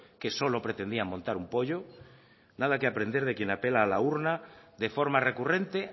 que solo pretendían montar un pollo nada que aprender de quien apela a la urna de forma recurrente